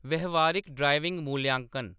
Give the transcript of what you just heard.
व्यावहारिक ड्राइविंग मूल्यांकन